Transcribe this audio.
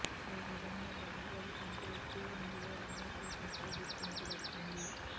ఓ విధంగా బాహుబలి కంటే ఎక్కువ రేంజ్ లో రమ్యకృష్ణకు గుర్తింపు దక్కింది